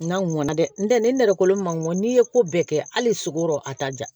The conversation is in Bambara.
N'a mɔna dɛ n tɛ ni nɛrɛ kolon ma ŋɔnn'i ye ko bɛɛ kɛ hali sogoro a t'a ja